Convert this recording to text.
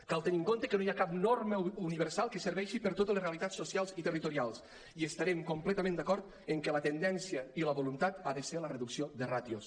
cal tenir en compte que no hi ha cap norma universal que serveixi per a totes les realitats socials i territorials i estem completament d’acord que la tendència i la voluntat ha de ser la reducció de ràtios